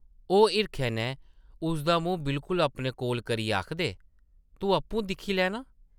ओह् हिरखै नै उसदा मूंह् बिल्कुल अपने कोल करियै आखदे, ‘‘तूं आपूं दिक्खी लै नां ।’’